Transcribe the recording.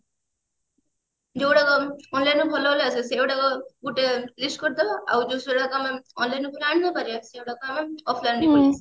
ଯୋଉ ଗୁଡାକ online ଭଲ ଭଲ ଆସିବ ସେଇଗୁଡାକ ଗୋଟେ list କରିଦେବ ଆଉ ଯୋଉ ସେଗୁଡାକ ଆମେ online ଆଣି ନ ପାରିବା ସେଗୁଡାକ ଆମେ offline ନେଇ ଆସିବା